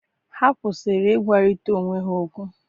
Ha kwụsịrị ịgwarịta onwe ha okwu.